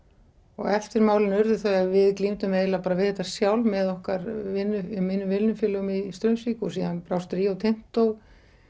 og eftirmálin urðu þau að við glímdum eiginlega við þetta sjálf með okkar mínum vinnufélögum í Straumsvík og síðan brást Rio Tinto